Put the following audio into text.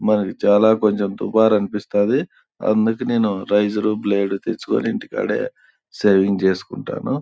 మాది చాల మంచి తుఫారు అనిపిస్తాది.అందుకే నేను రైసర్ బ్లేడ్ ను తెచ్చుకొని ఇంటి కాడే సేవింగ్ చేసుకుంటాను.